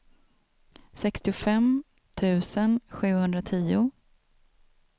sextiofem tusen sjuhundratio